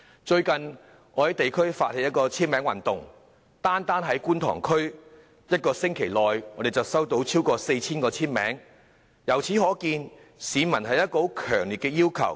最近，我在地區發起簽名運動，單單在觀塘區便在1星期內收集到超過 4,000 個簽名，由此可見市民對此有強烈的訴求。